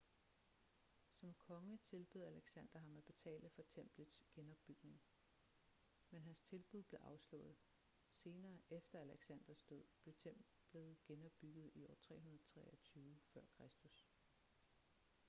som konge tilbød alexander ham at betale for templets genopbygning men hans tilbud blev afslået senere efter alexanders død blev templet genopbygget i år 323 f.kr